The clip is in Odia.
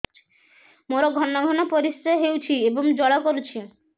ମୋର ଘନ ଘନ ପରିଶ୍ରା ହେଉଛି ଏବଂ ଜ୍ୱାଳା କରୁଛି